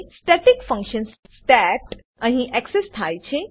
static function state અહીં access થાય છે